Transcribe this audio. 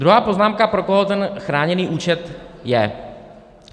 Druhá poznámka, pro koho ten chráněný účet je.